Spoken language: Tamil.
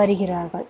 வருகிறார்கள்.